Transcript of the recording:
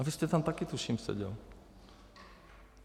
A vy jste tam tuším taky seděl.